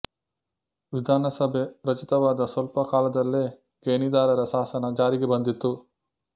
ವಿಧಾನಸಭೆ ರಚಿತವಾದ ಸ್ವಲ್ಪ ಕಾಲದಲ್ಲೇ ಗೇಣಿದಾರರ ಶಾಸನ ಜಾರಿಗೆ ಬಂದಿತ್ತು